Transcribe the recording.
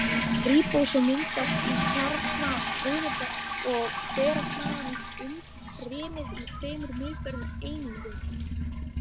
Ríbósóm myndast í kjarna frumunnar og berast þaðan í umfrymið í tveimur misstórum einingum.